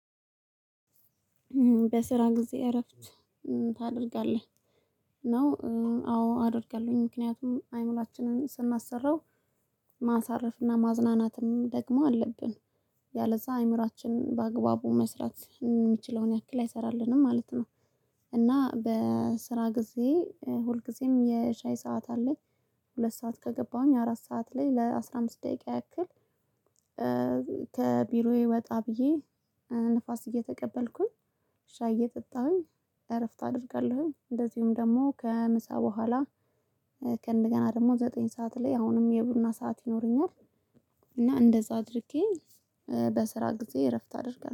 በስራ ጊዜ እረፍት ታደርጋለህ ነው? አዎ አደርጋለሁኝ ምክንያቱም አይምሮአችንን ስናሰራው ማሳረፍና ማዝናናትም ደግሞ አለብን ያለዛ አእምሮአችን በአግባቡ መስራት የሚችለውን ያክል አይሰራልንም ማለት ነው። እና በስራ ጊዜ ሁልጊዜም የሻይ ሰዓት አለኝ ሁለት ሰዓት ከገባሁኝ አራት ሰዓት ላይ ለአስራ አምስት ደቂቃ ያክል። ከቢሮዬ ወጣ ብዬ ንፋስ እየተቀበልኩኝ ሻይ እየጠጣሁኝ እረፍት አደርጋለሁኝ። እንደዚሁም ደግሞ ከምሳ በኋላ ደግሞ ዘጠኝ ሰዓት ላይ አሁንም የቡና ሰዓት ይኖረኛል። እና እንደዛ አድርጌ በስራ ጊዜ እረፍት አደርጋለው